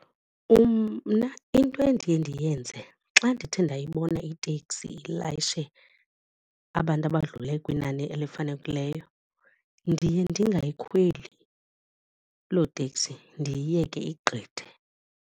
Mna into endiye ndiyenze xa ndithe ndayibona iteksi ilayishe abantu abadlule kwinani elifanelekileyo ndiye ndingayikhweli lo teksi ndiyiyeke igqithe.